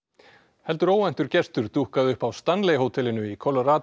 heldur óvæntur gestur dúkkaði upp á Stanley hótelinu í